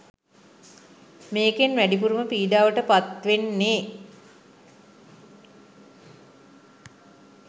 මේකෙන් වැඩිපුරම පීඩාවට පත් වෙන්නේ